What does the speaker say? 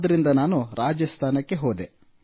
ಆದ್ದರಿಂದ ನಾನು ರಾಜಸ್ಥಾನಕ್ಕೆ ಹೋದೆ